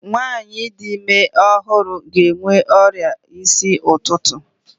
Nwaanyị di ime ọhụrụ ga-enwe ọrịa isi ụtụtụ.